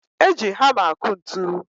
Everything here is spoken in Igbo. Eji hama akụ ntụ